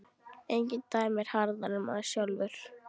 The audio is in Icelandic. Enginn dæmir harðar en maður sjálfur.